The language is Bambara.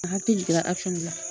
A hakili jigira dɔ la.